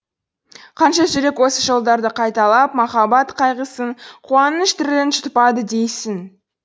қанша жүрек осы жолдарды қайталап махаббат қайғысын қуаныш дірілін жұтпады дейсің